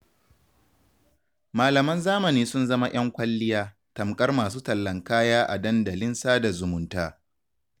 Malaman zamani sun zama 'yan kwalliya, tamkar masu tallan kaya a dandalin sada zumunta.